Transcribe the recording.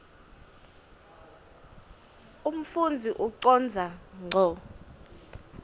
umfundzi ucondza ngco